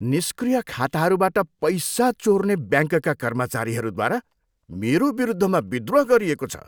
निष्क्रिय खाताहरूबाट पैसा चोर्ने ब्याङ्कका कर्मचारीहरूद्वारा मेरो विरुद्धमा विद्रोह गरिएको छ।